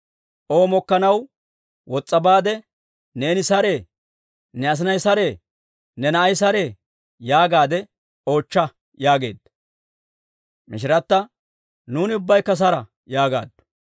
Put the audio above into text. O mokkanaw wos's'a baade, ‹Neeni saree? Ne asinay saree? Ne na'ay saree?› yaagaadde oochcha» yaageedda. Mishirata, «Nuuni ubbaykka sara» yaagaaddu.